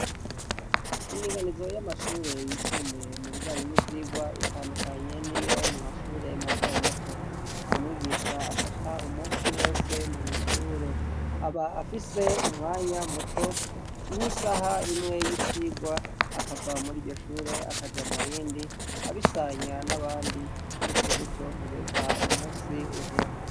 indiganizo y'amashure yisumbuye mu bijanyi n'ibyigwa itandukanye niyo mu mashure mato mato nta mwigisha afata umusi wose mwishure aba afise umwanya muto nk'isaha imwe y'icigwa akava muri iryoshure akaja murindi abisanya n'abandi gutyo gutyo kugeza umunsi uhere